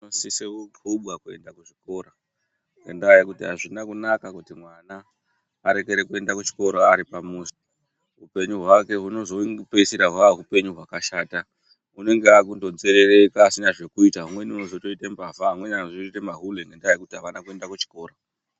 Vanosise ku quba kuenda kuchikora ngendsa yekuti azvina kunaka kuti mwana arekere kuenda kuchikora ari pamuzi hupenyu hwake husnoszo peisira hwaa hupenyu hwakashata unenge aakungo nzerereka asina zvekuita umweni unozototoite mbavha amweni anozotoite ma hule ngekuti avana kuende kuchikora